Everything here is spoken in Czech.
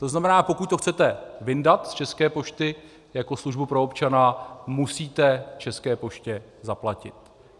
To znamená, pokud to chcete vyndat z České pošty jako službu pro občana, musíte České poště zaplatit.